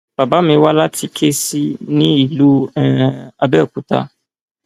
bàbá mi wá láti kẹẹsì ní ìlú um àbẹòkúta